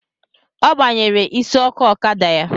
Ọ gbanyere isi ọkụ ọkada ya